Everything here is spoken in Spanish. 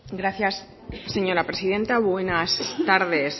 gracias señora presidenta buenas tardes